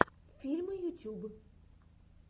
фильмы ютюб